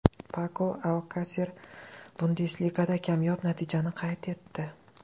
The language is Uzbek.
Pako Alkaser Bundesligada kamyob natijani qayd etdi.